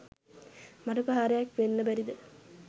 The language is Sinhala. මඩ ප්‍රහාරයක්‌ වෙන්න බැරිද?